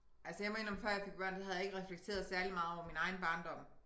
Altså jeg må indrømme før jeg fik børn der havde jeg ikke reflekteret særlig meget over min egen barndom